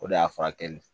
O de y'a furakɛ